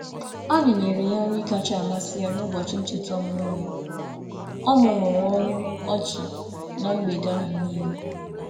Anyi nyere ya nri kacha amasị ya n'ụbọchị ncheta ọmụmụ ya, o mumuru ọnụ ọchị na mgbede ahụ niile.